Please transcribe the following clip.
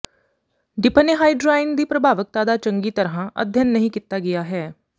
ਡਿਪ੍ਹਨੇਹਾਈਡਰਾਇਣ ਦੀ ਪ੍ਰਭਾਵਕਤਾ ਦਾ ਚੰਗੀ ਤਰ੍ਹਾਂ ਅਧਿਐਨ ਨਹੀਂ ਕੀਤਾ ਗਿਆ ਹੈ